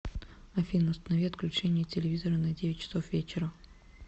афина установи отключение телевизора на девять часов вечера